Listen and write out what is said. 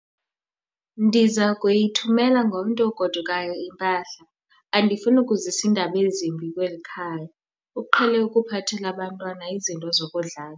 Ndiza kuyithumela ngomntu ogodukayo impahla. andifuni ukuzisa iindaba ezimbi kweli khaya, uqhele ukuphathela abantwana izinto zokudlala